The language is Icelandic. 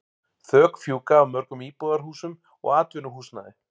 Þök fjúka af mörgum íbúðarhúsum og atvinnuhúsnæði.